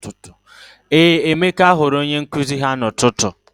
Ee, Emeka hụrụ onye nkụzi ahụ n'ụtụtụ.